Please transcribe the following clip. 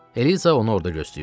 Eliza onu orda gözləyirdi.